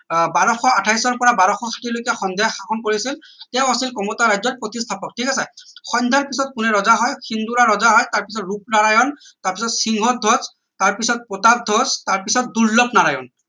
আহ বাৰশ আঠাইশ ৰ পৰা বাৰশ ষাঠি লৈকে সন্ধ্যায় শাসন কৰিছিল তেওঁ আছিল কমতা ৰাজ্যৰ প্ৰতিষ্ঠাপক ঠিক আছে সন্ধ্যাৰ পিছত কোনে ৰজা হয় ৰজা হয় তাৰ পিছত ৰূপনাৰায়ন তাৰ পিছতসিংহধ্বজ তাৰ প্ৰতাপধ্বজ পিছত দুৰ্লভ নাৰায়ণৰ